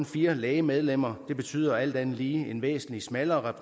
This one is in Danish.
fire læge medlemmer det betyder alt andet lige en væsentlig smallere